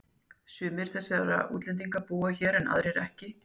Sumir þessara útlendinga búa hér en aðrir ekki.